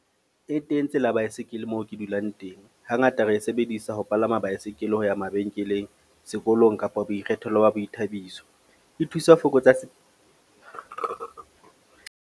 E teng tsela ya baesekele moo ke dulang teng. Hangata re e sebedisa ho palama baesekele ho ya mabenkeleng, sekolong kapa boikgethelo ba boithabiso. E thusa ho fokotsa .